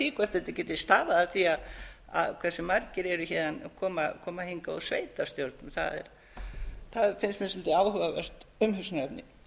því hvort þetta geti stafað af því hversu margir koma hingað úr sveitarstjórnum það finnst mér svolítið áhugavert umhugsunarefni